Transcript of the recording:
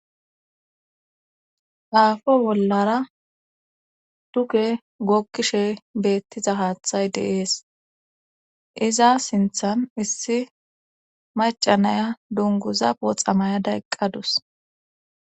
Aafo bollara tuke gookkishe beettiza haaththay deees iza sinthan issi macanaya dunguza oxamayada eqqadus.